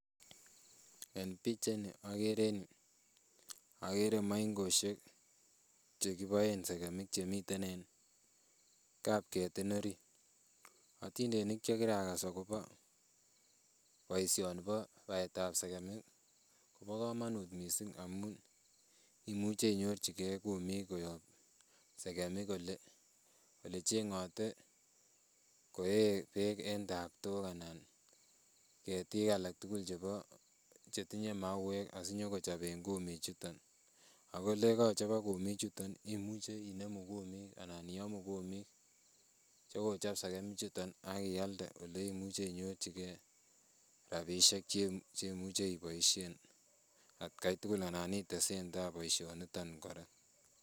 Eng pichait ni akere maingosiek chekiboen sekemik chemiten en kap ketin orit otindonik chekirakas akobo boisioni bo baetab sekemik bo kamanut msisng amu imuchi inyorchigei kumik koyo sekemik ole chengote koee beek eng taptok anan ketik alak tugul chebo chetinye mauwek asinyi kochoben kumichuton akoyekachobok kumik chuton imuchi inemu kumik anan iamu kumik chekochop sekemichutok akialde ole imuchi inyorchigei rabisiek cheimuchi iboisien atkai tugul anan itesentai boisioniton kora.